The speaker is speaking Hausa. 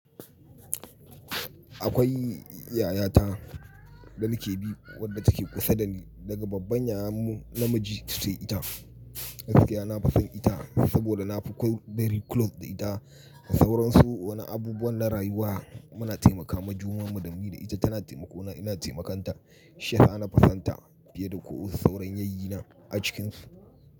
Akwai yaya ta ɗanikebi wadda take kusa da ni daga babban yayan mu namiji sai ita. Gaskiya na fason ita saboda na fi ko, very close da ita. Sauransu wani abubuwan na rayuwa muna taimakawa junan mu dani da ita tana taimako na ina taimakan ta. Shi yasa nafi sonta fiye da ko sauran yayyi na a cikin su.